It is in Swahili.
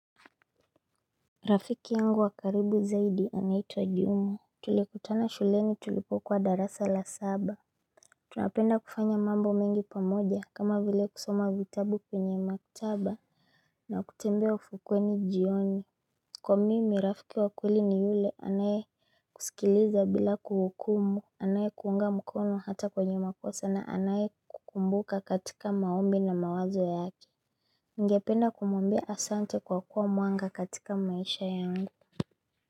Rafiki yangu wa karibu zaidi anaitwa jumaTulikutana shuleni tulipokuwa darasa la saba Tunapenda kufanya mambo mengi pamoja kama vile kusoma vitabu kwenye maktaba na kutembea ufukuweni jioni Kwa mimi rafiki wa kweli ni yule anayekusikiliza bila kuhukumu Anayekuunga mkono hata kwenye makosa na anayekukumbuka katika maombi na mawazo yake Ningependa kumwambia asante kwa kuwa mwanga katika maisha yangu.